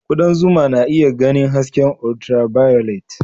Kudan zuma na iya ganin hasken ultraviolet